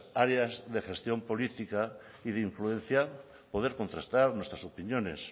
áreas de gestión política y de influenciar poder contrastar nuestras opiniones